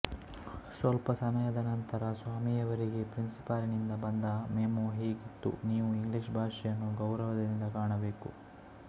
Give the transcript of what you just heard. ಸ್ವಲ್ಪ ಸಮಯದ ನಂತರ ಸ್ವಾಮಿಯವರಿಗೆ ಪ್ರಿನ್ಸಿಪಾಲಿನಿಂದ ಬಂದ ಮೆಮೊ ಹೀಗಿತ್ತು ನೀವು ಇಂಗ್ಲಿಷ್ ಭಾಶೆಯನ್ನು ಗೌರವದಿಂದ ಕಾಣಬೇಕು